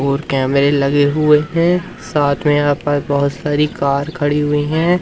और कैमरे लगे हुए हैं साथ में यहां पर बहोत सारी कार खड़ी हुई है।